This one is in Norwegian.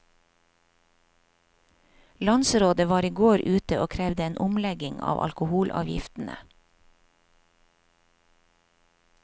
Landsrådet var i går ute og krevde en omlegging av alkoholavgiftene.